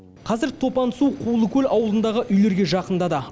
қазір топан су құлыкөл ауылындағы үйлерге жақындады